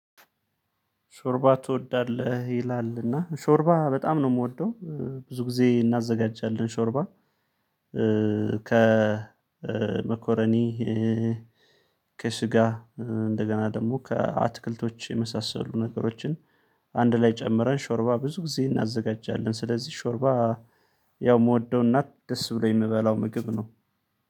ሾርባ ትወዳለህ? ይላል እና ሾርባ በጣም ነው የምወደው። ብዙ ጊዜ እናዘጋጃለን ሾርባ ከመኮረኒ ከስጋ እንደገና ደግሞ ከአትክልቶች የመሳሰሉ ነገሮችን አንድ ላይ ጨምረን ሾርባ ብዙ ጊዜ እናዘጋጃለን። ስለዚህ ሾርባ ያው የምወደው እና ደስ ብሎኝ የምበላው ምግብ ነው።